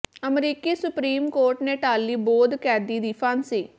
ਅਮਰੀਕੀ supreme court ਨੇ ਟਾਲ਼ੀ ਬੋਧ ਕੈਦੀ ਦੀ ਫਾਂਸੀ